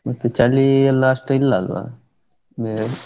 ಮತ್ತೆ ಚಳಿ ಇಲ್ಲಾ ಅಷ್ಟು ಇಲ್ಲ ಅಲ್ವಾ .